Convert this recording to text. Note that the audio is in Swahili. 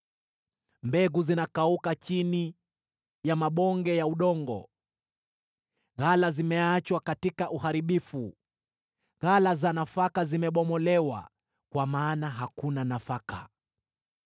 Mbegu zinakauka chini ya mabonge ya udongo. Ghala zimeachwa katika uharibifu, ghala za nafaka zimebomolewa, kwa maana hakuna nafaka.